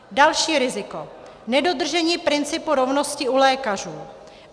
Další riziko - nedodržení principu rovnosti u lékařů.